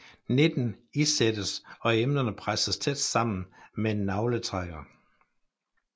Nitten isættes og emnerne presses tæt sammen med en nagletrækker